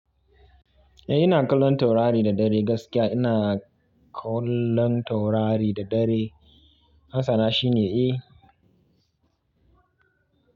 Eh ina kallon taurari da dare gaskiya ina kallon taurari da dare. Amsa na shine eh.